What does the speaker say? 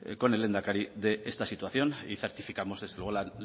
con el lehendakari de esta situación y certificamos desde luego la